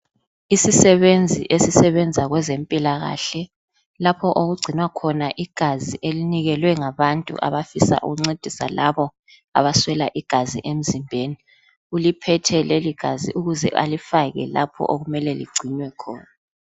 Isisebenzi esisebenza kwezempilakahle, lapho okugcinwa khona igazi elinikelwe ngabantu abafisa ukuncedisa labo abaswela igazi emzimbeni. Uliphethe leligazi ukuze alifake lapho okumele ligcinwe khona.